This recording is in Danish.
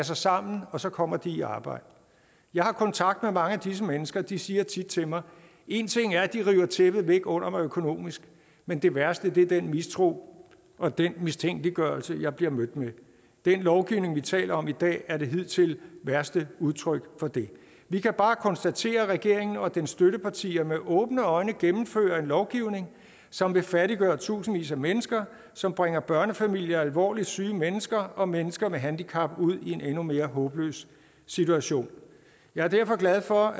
sig sammen og så kommer de i arbejde jeg har kontakt med mange af disse mennesker de siger tit til mig en ting er at de river tæppet væk under mig økonomisk men det værste er den mistro og den mistænkeliggørelse jeg bliver mødt med den lovgivning vi taler om i dag er det hidtil værste udtryk for det vi kan bare konstatere at regeringen og dens støttepartier med åbne øjne gennemfører en lovgivning som vil fattiggøre tusindvis af mennesker som bringer børnefamilier og alvorligt syge mennesker og mennesker med handicap ud i en endnu mere håbløs situation jeg er derfor glad for